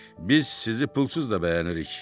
Biz sizi pulsuz da bəyənirik.